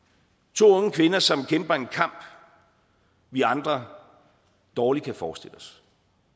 to unge kvinder som kæmper en kamp vi andre dårlig kan forestille os